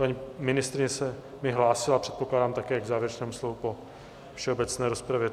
Paní ministryně se mi hlásila, předpokládám, také k závěrečnému slovu po všeobecné rozpravě.